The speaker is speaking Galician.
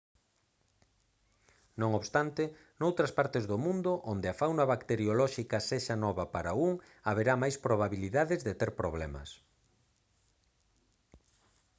non obstante noutras partes do mundo onde a fauna bacteriolóxica sexa nova para un haberá máis probabilidades de ter problemas